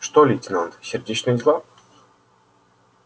что лейтенант сердечные дела